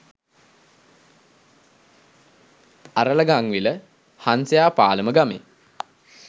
අරලගංවිල හංසයාපාලම ගමේ